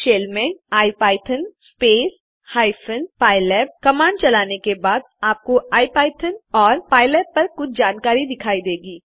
shell में IPython space hyphen pylab command चलाने के बाद आपको इपिथॉन और पाइलैब पर कुछ जानकारी दिखाई देगी